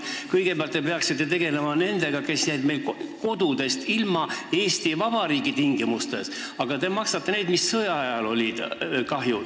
Kõigepealt te peaksite tegelema nendega, kes jäid taasiseseisvunud Eesti Vabariigi ajal oma kodust ilma, aga te maksate kinni sõjaajal tekkinud kahju.